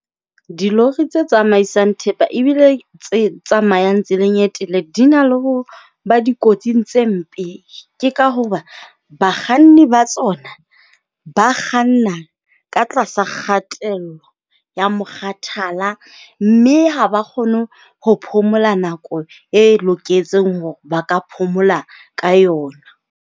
Dilori tse tsamaisang thepa ebile tse tsamayang tseleng e telele di na le ho ba dikotsing tse mpe. Ke ka hoba bakganni ba tsona ba kganna ka tlasa kgatello ya mokgathala. Mme ha ba kgone ho phomola nako e loketseng hore ba ka phomola ka yona.